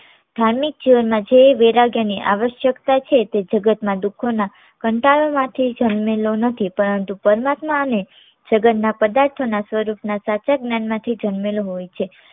ધાર્મિક જીવનમાં જે વૈરાગ્યની આવશ્કયતા છે તે જગત ના દુખો ના કંટાળામાંથી જન્મેલો નથી પરંતુ પરમાત્માને જગત ના પદાર્થો ના સ્વરૂપ ના સાચા જ્ઞાનમાંથી જન્મેલો હોય છે.